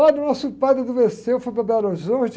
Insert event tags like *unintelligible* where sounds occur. Olha, o nosso padre, *unintelligible* foi para Belo Horizonte.